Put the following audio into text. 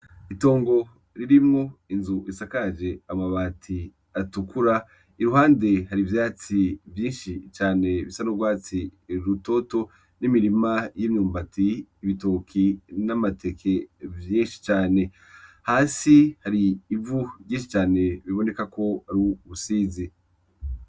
Itongo rirmwo inzu isakaje amabati atukura iruhande hari ivyatsi vyinshi cane bisa n'urwatsi rutoto n'imirima y'imyumbati, ibitoke n'amateke vyinshi cane hasi hari ivu ryinshi cane biboneka ko ari ubusizi